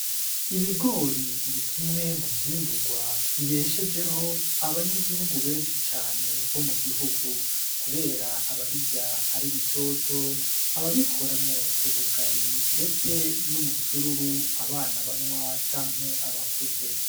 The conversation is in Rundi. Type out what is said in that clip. Ibigori ni kimwe mu vyimburwa bibeshejeho abanyagihugu benshi cane bo mu gihugu, kubera ababirya ari bitoto ababikoramwo ubugari, ndetse n'umusururu abana banywa canke abakuze.